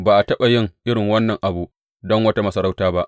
Ba a taɓa yin irin wannan abu don wata masarauta ba.